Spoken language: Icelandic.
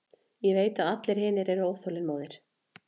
Ég veit að allir hinir eru óþolinmóðir.